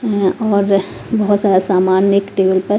और बहोत सारा सामान एक टेबल पर--